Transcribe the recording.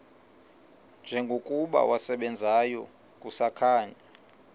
njengokuba wasebenzayo kusakhanya